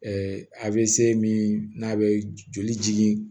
a bɛ se min n'a bɛ joli jigin